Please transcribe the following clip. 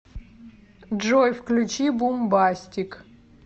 джой включи бумбастик